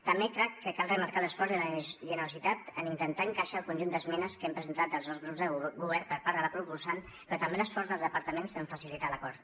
també crec que cal remarcar l’esforç de generositat en intentar encaixar el conjunt d’esmenes que hem presentat els dos grups de govern per part de la proposant però també l’esforç dels departaments en facilitar l’acord